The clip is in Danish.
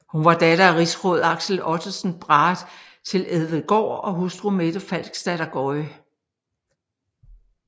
Hun var datter af rigsråd Axel Ottesen Brahe til Elvedgaard og hustru Mette Falksdatter Gøye